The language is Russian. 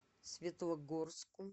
светлогорску